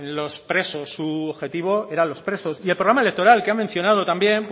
los presos su objetivo eran los presos y el programa electoral que ha mencionado también